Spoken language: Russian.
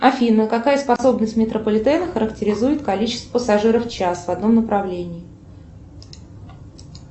афина какая способность метрополитена характеризует количество пассажиров в час в одном направлении